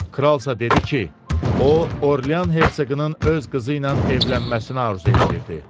Kralsa dedi ki, o Orlean Hersoqunun öz qızı ilə evlənməsini arzu eləyirdi.